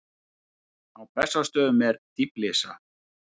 Á Bessastöðum er dýflissa.